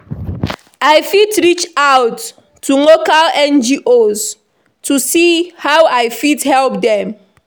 I fit reach out to local NGOs to see how I fit help dem.